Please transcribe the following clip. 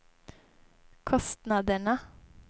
kostnaderna